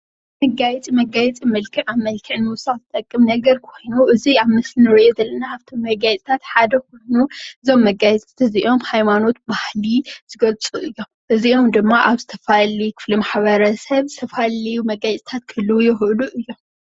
መጋየፂ መጋየፂ መልክዕ ንኽውስኽ ዝጠቅም ነገር ኮይኑ እዚ ኣብ ምስሊ ንሪኦ ዘለና ካብቶም መጋየፅታት ሓደ ኮይኑ እዞም መጋየፅታት እዝኦም ሃይማኖት ባህሊ ዝገልፁ እዮም። እዚኦም ድማ ኣብ ዝተፋላለዩ ክፍሊ ማሕበረሰብ ዝተፋላለዩ መጋየጺታት ክህልዉ ይክእሉ እዮም።